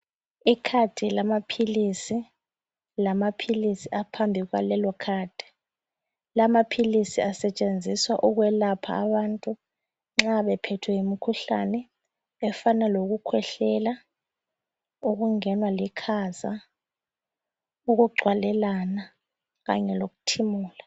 Ikhadi lamaphilisi lamaphilisi aphambi kwalelokhadi. Lamaphilisi asetshenziswa ukwelapha abantu nxa bephethwe yimikhuhlane efana okukhwehlela ,ukungenwa likhaza, ukugcwalelana kanye lokuthimula.